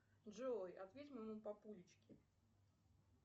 джой ответь моему папуличке